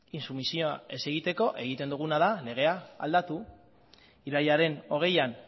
intsumisioa ez egiteko egiten duguna da legea aldatu irailaren hogeian